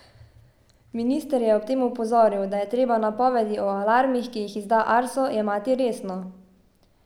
Minister je ob tem opozoril, da je treba napovedi o alarmih, ki jih izda Arso, jemati resno.